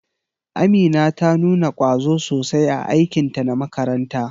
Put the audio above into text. Amina ta nuna kwazo sosai a aikinta na makaranta.